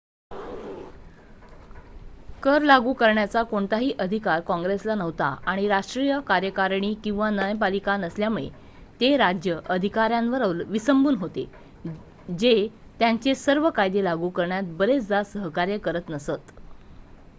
कर लागू करण्याचा कोणताही अधिकार काँग्रेसला नव्हता आणि राष्ट्रीय कार्यकारिणी किंवा न्यायपालिका नसल्यामुळे ते राज्य अधिकाऱ्यांवर विसंबून होते जे त्यांचे सर्व कायदे लागू करण्यात बरेचदा सहकार्य करत नसत